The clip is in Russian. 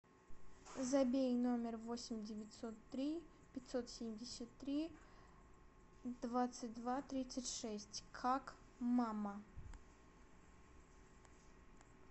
забей номер восемь девятьсот три пятьсот семьдесят три двадцать два тридцать шесть как мама